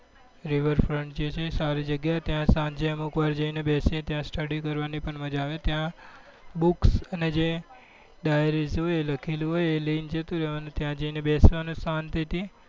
બ river front છે જે સારી જગ્યા એ સાંજે અમુકવાર જઈ ને બેસીએ ત્યાં study કરવા ની પણ મજા આવે ત્યાં books અને dairies જે હોય એ લખેલું હોય એ લઇ ને જતું રેવા નું ત્યાં જઈ ને બેસવા નું શાંતિ થી